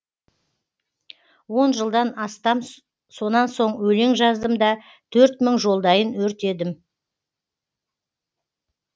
он жылдан астам сонан соң өлең жаздым да төрт мың жолдайын өртедім